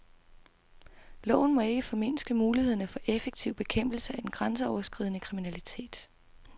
Loven må ikke formindske mulighederne for effektiv bekæmpelse af den grænseoverskridende kriminalitet.